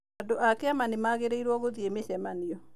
Andũ a kĩama nĩ magĩrĩirũo gũthiĩ mĩcemanio.